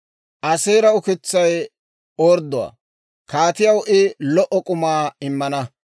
Aaseera ukitsay ordduwaa; kaatiyaw I lo"o k'umaa immana.